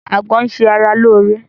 Àgbọn ń ṣe ara lóore